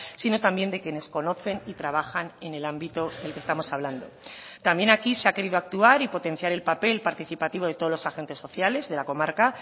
sino también de quienes conocen y trabajan en el ámbito el que estamos hablando también aquí se ha querido actuar y potenciar el papel participativo de todos los agentes sociales de la comarca